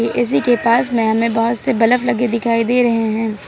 AC के पास में हमें बहुत से बलब लगे दिखाई दे रहे हैं।